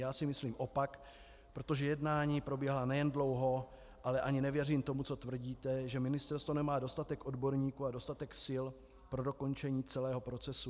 Já si myslím opak, protože jednání probíhala nejen dlouho, ale ani nevěřím tomu, co tvrdíte, že ministerstvo nemá dostatek odborníků a dostatek sil pro dokončení celého procesu.